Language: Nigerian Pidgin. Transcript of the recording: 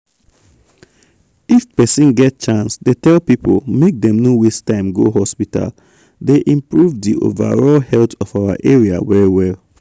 if persin get chance dey tell people make dem no waste time go hospital dey improve di overall health of our area well well.